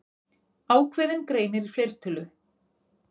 Ákveðinn greinir í fleirtölu.